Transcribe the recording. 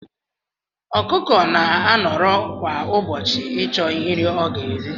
Ọkụkọ na anọrọ kwa ubochi ichọ nri ọga eri.